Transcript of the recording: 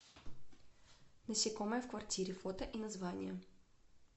насекомые в квартире фото и названия